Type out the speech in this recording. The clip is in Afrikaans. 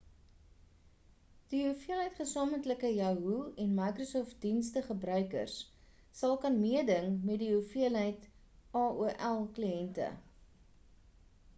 die hoeveelheid gesamentlike yahoo en microsoft dienste gebruikers sal kan meeding met die hoeveelheid aol kliente